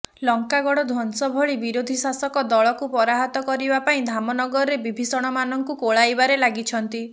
ଲଙ୍କାଗଡ ଧ୍ୱଂସ ଭଳି ବିରୋଧୀ ଶାସକ ଦଳକୁ ପରାହତ କରିବା ପାଇଁ ଧାମନଗରରେ ବିଭୀଷଣମାନଙ୍କୁ କୋଳେଇବାରେ ଲାଗିଛନ୍ତି